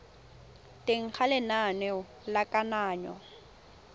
teng ga lenane la kananyo